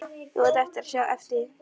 Þú átt eftir að sjá eftir því!